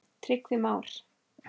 Tryggvi Már.